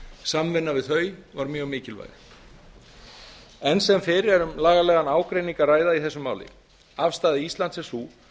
samvinna við þau var mjög mikilvæg enn sem fyrr er um lagalegan ágreining að ræða í þessu máli afstaða íslands er sú